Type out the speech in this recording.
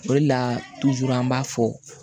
O de la an b'a fɔ